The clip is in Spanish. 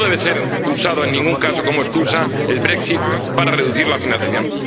Y no debe ser usado en ningún caso como excusa el Brexit para reducir la financiación.